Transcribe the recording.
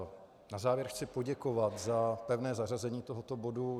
Na závěr chci poděkovat za pevné zařazení tohoto bodu.